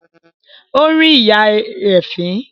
Ó rín ìyá rẹ̀ fín